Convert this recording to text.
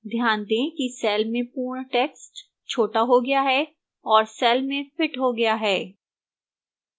ध्यान दें कि cell में पूर्ण text छोटा हो गया है और cell में fits हो गया है